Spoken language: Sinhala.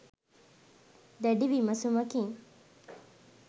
දැඩි විමසුමකින්